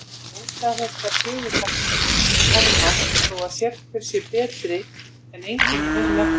Óstaðfestar sögusagnir herma þó að sérhver sé betri en enginn í þessum efnum.